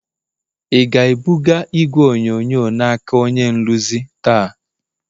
ị ga-ebuga igwe onyonyo n'aka onye nrụzi taa?